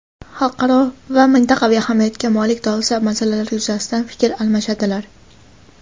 xalqaro va mintaqaviy ahamiyatga molik dolzarb masalalar yuzasidan fikr almashadilar.